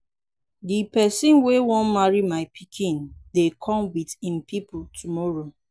the person wey wan marry my pikin dey come with im people tomorrow.